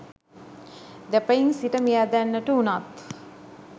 දෙපයින් සිට මියැදෙන්නට වුණත්